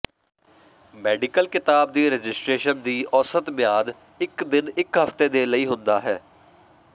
medical ਿਕਤਾਬ ਦੀ registration ਦੀ ਔਸਤ ਮਿਆਦ ਇੱਕ ਦਿਨ ਇੱਕ ਹਫ਼ਤੇ ਦੇ ਲਈ ਹੁੰਦਾ ਹੈ